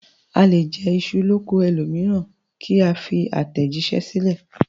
A lè jẹ iṣu l'oko ẹlòmíràn ká fi àtẹ̀jíṣẹ́ sílẹ̀